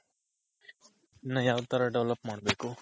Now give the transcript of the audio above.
ಇನ್ನ ಯಾವ್ ತರ Develop ಮಾಡ್ಬೇಕು?